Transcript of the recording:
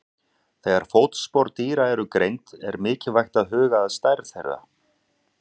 Þegar fótspor dýra eru greind er mikilvægt að huga að stærð þeirra.